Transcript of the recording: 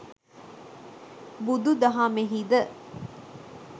බුදුදහමෙහි ද